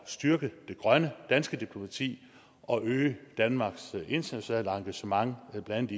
styrke det grønne danske diplomati og øge danmarks internationale engagement i blandt